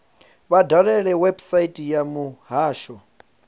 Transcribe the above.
vha dalele website ya muhasho